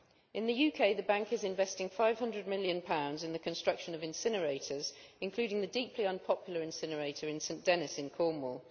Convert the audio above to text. In the UK, the Bank is investing GBP 500 million in the construction of incinerators, including the deeply unpopular incinerator in St Dennis in Cornwall.